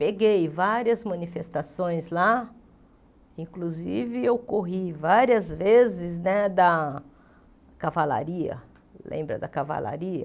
Peguei várias manifestações lá, inclusive eu corri várias vezes né da cavalaria, lembra da cavalaria?